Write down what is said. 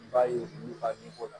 N b'a ye n b'u ka min fɔ o la